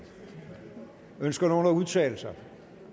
ønsker nogen at udtale sig